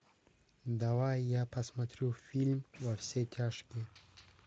давай я посмотрю фильм во все тяжкие